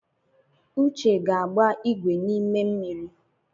Uche ga-agba ìgwè n’ime mmiri